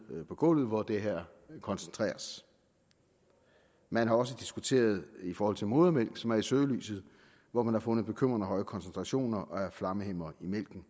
på gulvet hvor det her koncentreres man har også diskuteret det i forhold til modermælk som er i søgelyset og hvor man har fundet bekymrende høje koncentrationer af flammehæmmere i mælken